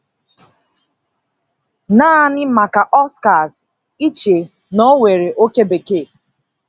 Naanị maka Oscars iche na ọ nwere oke bekee?